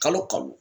Kalo kalo